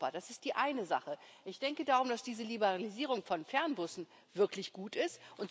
Das ist die eine Sache. Ich denke darum, dass diese Liberalisierung von Fernbussen wirklich gut ist.